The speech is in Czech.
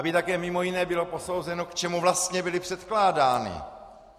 Aby také mimo jiné bylo posouzeno, k čemu vlastně byly předkládány.